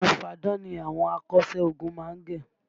Irun fáadán ni àwọn akọ́ṣẹ́ ogun má ń gẹ